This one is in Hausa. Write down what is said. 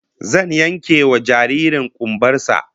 Zan yankewa jaririn kumbar sa